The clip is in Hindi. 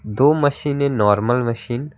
दो मशीन है नॉर्मल मशीन ।